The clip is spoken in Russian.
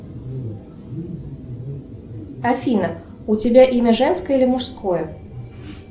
афина у тебя имя женское или мужское